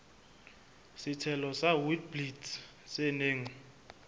setshelo sa witblits se neng